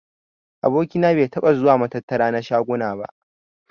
Aboki na bai taɓa zuwa matattara na shaguna ba.